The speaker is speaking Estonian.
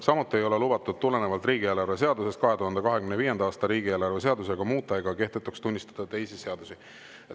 Samuti ei ole lubatud tulenevalt riigieelarve seadusest 2025. aasta riigieelarve seadusega muuta ega kehtetuks tunnistada teisi seadusi.